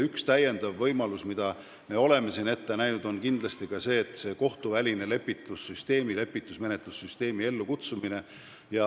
Üks lisavõimalusi, mida me oleme ette näinud, on kohtuvälise lepituse süsteemi, lepitusmenetlussüsteemi ellukutsumine.